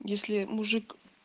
если мужик